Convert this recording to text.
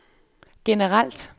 generelt